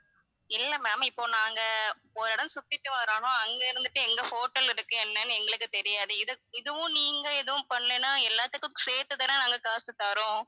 இல்ல ma'am இப்போ நாங்க ஒரு இடம் சுத்திட்டு வர்றோம்னா அங்க இருந்துட்டு எங்க hotel இருக்கு என்னனு எங்களுக்கு தெரியாது இது~ இதுவும் நீங்க எதுவும் பண்ணலைனா எல்லாத்துக்கும் சேர்த்து தான நாங்க காசு தர்றோம்